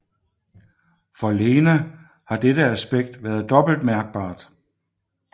For Lena har dette aspekt været dobbelt mærkbart